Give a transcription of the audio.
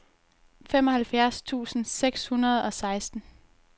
femoghalvfjerds tusind seks hundrede og seksten